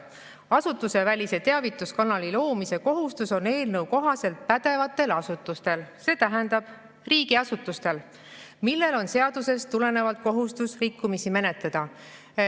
Asutusevälise teavituskanali loomise kohustus on eelnõu kohaselt pädevatel asutustel, st riigiasutustel, millel on seadustest tulenevalt kohustus rikkumisi menetleda.